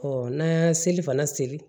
n'an y'an seli fana seri